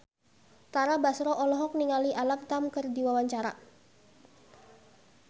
Tara Basro olohok ningali Alam Tam keur diwawancara